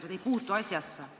Need ei puutu asjasse.